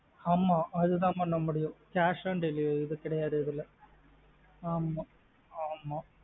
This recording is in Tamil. ஆமா ஆது தா பண்ண முடியும் cash on delivery இது கிடையாது இதுல ஆமா ஆமா.